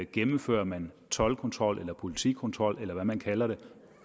gennemfører man toldkontrol eller politikontrol eller hvad man kalder det